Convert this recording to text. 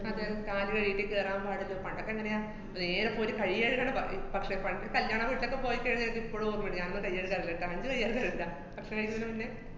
അതെ. കാല് കഴുകീട്ട് കേറാന്‍ പാടില്ല, പണ്ടൊക്കെങ്ങനെയാ നേരെ ഇപ്പൊരു കൈ കഴുകണ ബ~ ഏർ പക്ഷെ പണ്ട് കല്യാണവീട്ടിലൊക്കെ പോയിക്കഴിഞ്ഞാല് ഇപ്പളും ഓര്‍മ്മേണ്ട്, ഞാനൊന്നും കൈ കഴുകാറില്ല, ഭക്ഷണം കഴിക്കുന്നതിനു മുന്നെ.